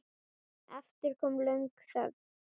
Aftur kom löng þögn.